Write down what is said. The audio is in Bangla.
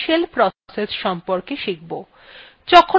প্রথমে আমারা shell process সম্বন্ধে শিখব